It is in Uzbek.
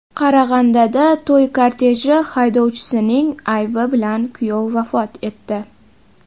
Qarag‘andada to‘y korteji haydovchisining aybi bilan kuyov vafot etdi.